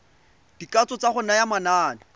dikatso tsa go naya manane